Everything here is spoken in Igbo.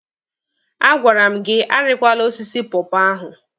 A gwara m gị arikwala osisi pọọpọọ ahụ!